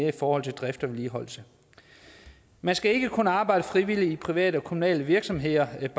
i forhold til drift og vedligeholdelse man skal ikke kunne arbejde frivilligt i private og kommunale virksomheder helt